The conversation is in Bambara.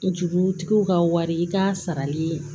Jurutigiw ka wari i ka sarali